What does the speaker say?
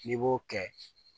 N'i b'o kɛ